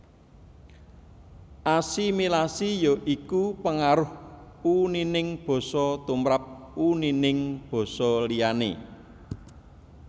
Asimilasi ya iku pengaruh unining basa tumrap unining basa liyané